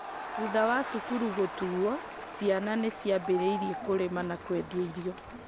thutha wa cukuru gũtuwo, ciana nĩ ciambĩrĩirie kũrĩma na kwendia irio